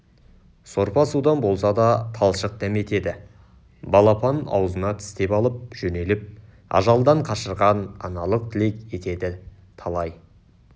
сорпа-судан болса да талшық дәметеді балапанын аузына тістеп алып жөнеліп ажалдан қашырған аналық тілек етеді талай